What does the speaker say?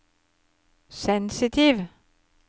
sensitiv